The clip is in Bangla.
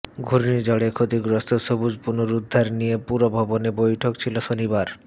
ঘূর্ণিঝড়ে ক্ষতিগ্রস্ত সবুজ পুনরুদ্ধার নিয়ে পুরভবনে বৈঠক ছিল শনিবার